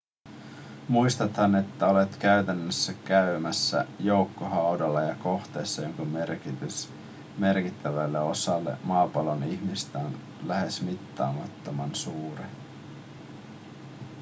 muistathan että olet käytännössä käymässä joukkohaudalla ja kohteessa jonka merkitys merkittävälle osalle maapallon ihmisistä on lähes mittaamattoman suuri